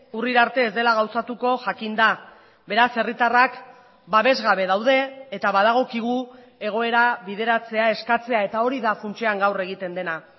urrira arte ez dela gauzatuko jakin da beraz herritarrak babesgabe daude eta badagokigu egoera bideratzea eskatzea eta hori da funtsean gaur egiten dena